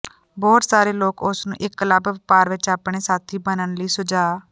ਬਹੁਤ ਸਾਰੇ ਲੋਕ ਉਸ ਨੂੰ ਇਕ ਕਲੱਬ ਵਪਾਰ ਵਿੱਚ ਆਪਣੇ ਸਾਥੀ ਬਣਨ ਲਈ ਸੁਝਾਅ